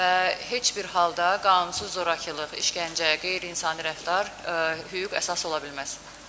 Və heç bir halda qanunsuz zorakılıq, işgəncə, qeyri-insani rəftar hüquq əsas ola bilməz.